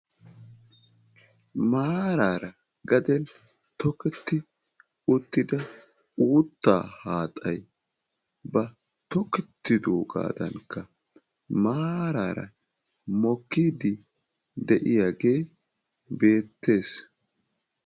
Maaraara gaden tokketti uttida uuttaa haaxay ba tokkettidoogaadanikka maaraara mokkiidi de'iyaagee beettees.